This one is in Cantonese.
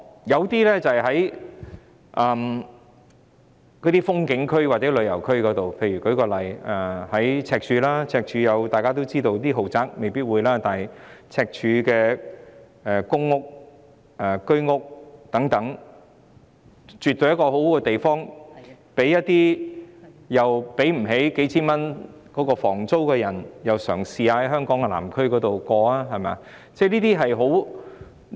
有些民宿位於風景區或旅遊區內，以赤柱為例，大家也知道，赤柱區的豪宅未必會有民宿，但在公屋和居屋等，絕對是一個好地方，讓那些負擔不起數千元房租的人試試在香港南區住宿。